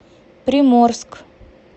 приморск